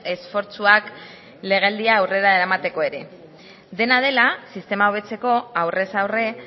esfortzuak legealdia aurrera eramateko ere dena dela sistema hobetzeko aurrez aurre